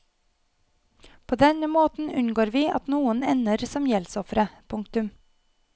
På denne måten unngår vi at noen ender som gjeldsofre. punktum